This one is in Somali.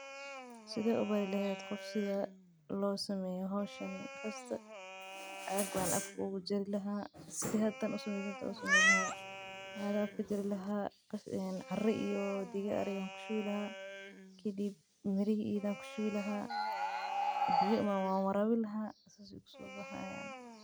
Sithe u bari lehed si lo baro hoshan cag ayan afka kajari laha cara iyo diga ari ayan kushubi laha kadib mir ayan kurdhi laha kadib wan warabini laha.